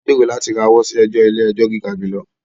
À ń gbèrò láti rawọ́ sí ẹjọ ti ilé-ẹjọ̀ gíga jùlọ